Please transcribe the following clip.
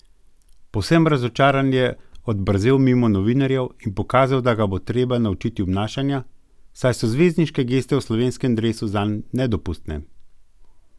Povsem razočaran je odbrzel mimo novinarjev in pokazal, da ga bo treba naučiti obnašanja, saj so zvezdniške geste v slovenskem dresu zanj nedopustne!